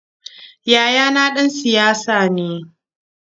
Yayana ɗan siyasa ne.